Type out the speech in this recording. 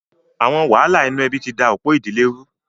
Àwọn wàhálà inú ẹbí ti da ọ̀pọ̀ ìdílé rú.